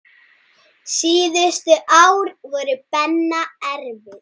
Síðustu ár voru Benna erfið.